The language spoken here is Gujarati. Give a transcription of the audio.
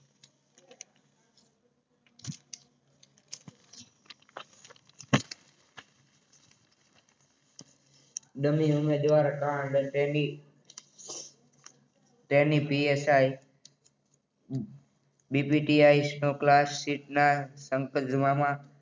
તેણી પીએસઆઇ